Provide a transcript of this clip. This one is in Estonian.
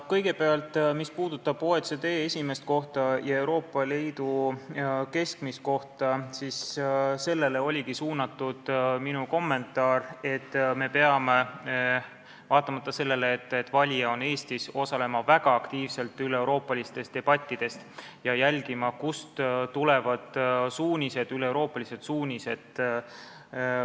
Kõigepealt, mis puudutab OECD esimest kohta ja Euroopa Liidu keskmist, siis sellele oligi suunatud minu kommentaar, et me peame, vaatamata sellele, et valija on Eestis, osalema väga aktiivselt üleeuroopalistes debattides ja jälgima, kust tulevad üleeuroopalised suunised.